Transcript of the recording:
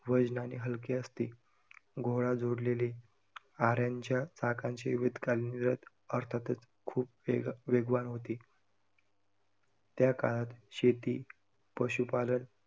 वजनाने हलके असते. घोडा जोडलेले, आऱ्यांच्या चाकांचे वेद कालीन रथ, अर्थातच खूप वेग~ वेगवान होते, त्याकाळात शेती, पशुपालन